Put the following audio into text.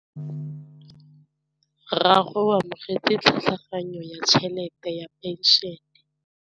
Rragwe o amogetse tlhatlhaganyô ya tšhelête ya phenšene.